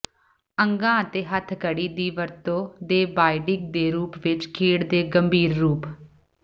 ਅੰਗਾ ਅਤੇ ਹੱਥਕੜੀ ਦੀ ਵਰਤੋ ਦੇ ਬਾਈਡਿੰਗ ਦੇ ਰੂਪ ਵਿਚ ਖੇਡ ਦੇ ਗੰਭੀਰ ਰੂਪ